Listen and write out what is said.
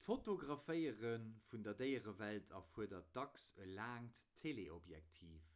d'fotograféiere vun der déierewelt erfuerdert dacks e laangt teleobjektiv